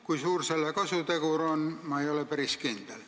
Kui suur selle kasutegur on, selles ei ole ma päris kindel.